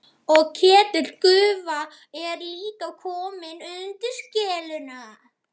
Og Ketill gufa er líka kominn undir skelluna.